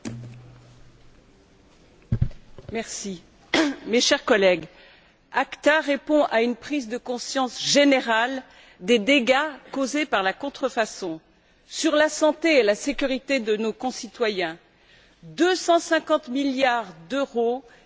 Monsieur le Président, mes chers collègues, l'ACTA répond à une prise de conscience générale des dégâts causés par la contrefaçon sur la santé et la sécurité de nos concitoyens 250 milliards d'euros perdus chaque année par les entreprises européennes,